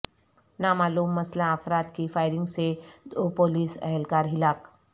نامعلوم مسلح افراد کی فائرنگ سے دو پولیس اہلکار ہلاک